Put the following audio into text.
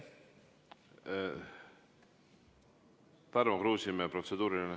Tarmo Kruusimäe, protseduuriline.